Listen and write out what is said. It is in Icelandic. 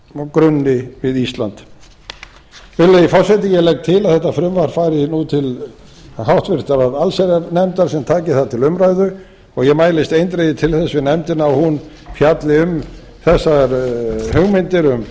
grunni við ísland virðulegi forseti ég legg til að þetta frumvarp fari nú til háttvirtrar allsherjarnefndar sem taki það til umræðu og ég mælist eindregið til þess við nefndina að hún fjalli um þessar hugmyndir um